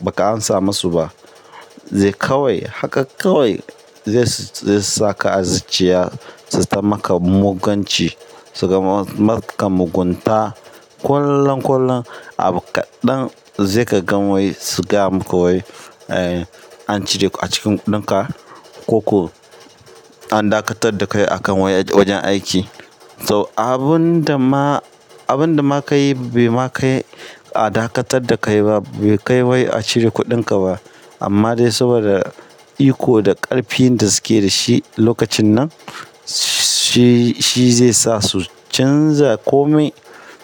ba ka amsa masu ba. Zai kawai haka kawai zai su, zai saka azzaciya su zata maka mugunci, suka maka mugunta ƙwallon ƙwallon abu kaɗan zai ka gan wai su gaya maka wai, eh, an cire a cikin kuɗinka ko an dakatar da kai a kan wajen aiki. To abun da ma, abun da ma ka yi bai ma kai a dakatar da kai ba, bai kai wai a cire kuɗinka ba. Amma dai saboda iko da ƙarfin da suke da shi lokacin nan, shi, shi zai sa su canza kome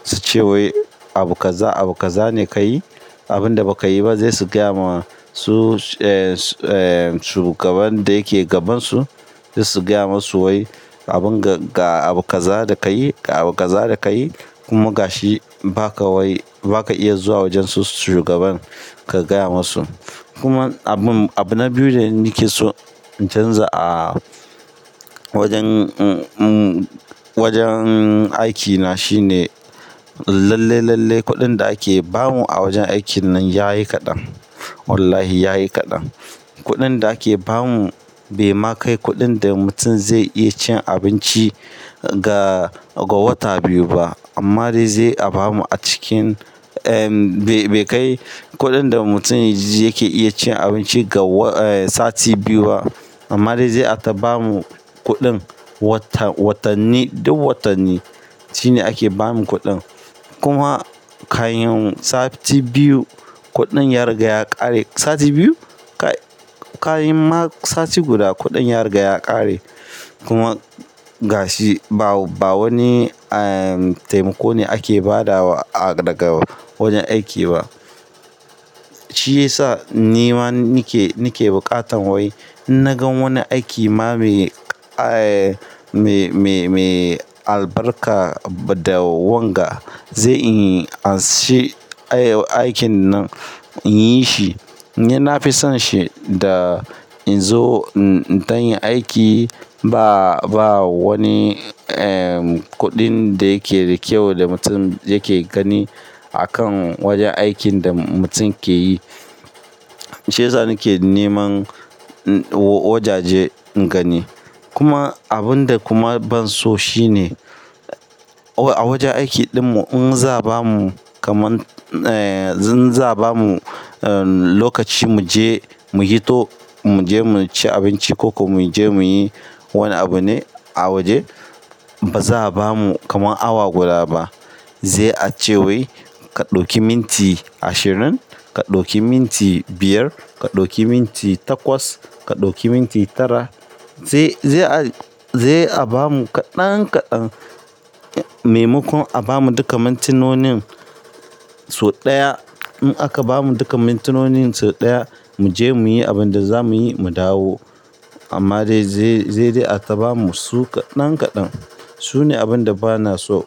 su ce wai abu kaza, abu kaza ne ka yi, abun da ba ka yi ba zai su gaya ma su, eh, eh, shugaban da yake gaban su, zai su gaya masu wai abun ga abu kaza da ka yi, abu kaza da ka yi kuma ga shi ba ka wai ba ka iya zuwa wajen su shugaban ka gaya masu. Kuma abu na biyu da nake so in canza a wajen aikina shine lallai lallai kuɗin da ake bamu a wajen aikin nan yayi kaɗan Wallahi ya yi kaɗan. Kuɗin da ake ba mu bai ma kai kuɗin da mutum zai iya cin abinci ga, ga wata biyu ba. Amma dai zai a bamu a cikin, eh, bai kai kuɗin da mutum yake iya cin abinci ga sati biyu ba. Amma dai zai a ta bamu kuɗin watanni, duk watanni shine ake ba mu kuɗin. Kuma ka yin sati biyu, kuɗin ya riga ya ƙare. Sati biyu? Ka yi ma sati guda kuɗin ya riga ya ƙare. Kuma ga shi ba, ba wani taimako ne ake ba da wa daga wajen aiki ba. Shi ya sa ni ma nake, nake buƙatan wai na gan wani aiki ma mai, eh, mai, mai, mai albarka da wanga zai in ashe aikin nan in yi shi. Ni na fi son shi da in zo in tayin aiki ba, ba wani, eh, kuɗin da yake da kyau da mutum yake gani a kan wajen aikin da mutum ke yi. Shi ya sa nake neman wajaje in gani. Kuma abun da kuma ban so shi ne a wajen aiki ɗinmu in za a bamu kaman, eh, in za a bamu lokaci mu je mu yi to, mu je mu ci abinci ko mu je mu yi wani abu ne a waje, ba za a bamu kaman awa guda ba. Zai a ce wai ka ɗauki minti ashirin, ka ɗauki minti biyar, ka ɗauki minti takwas, ka ɗauki minti tara. Zai, zai a, zai a bamu kaɗan kaɗan. Mai makon a bamu duka mintinonin sau ɗaya. In aka bamu duka mintinonin sau ɗaya, mu je mu yi abin da za mu yi mu dawo. Amma dai zai, zai dai a ta bamu su kaɗan kaɗan. Su ne abun da bana so.